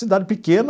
Cidade pequena,